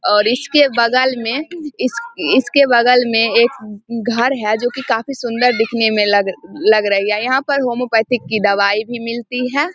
और इसके बगल में इस इसके बगल में एक घर है जो की काफी सुंदर दिखने में लग लग रही है। यहाँ पे होम्योपैथिक की दवाई भी मिलती है।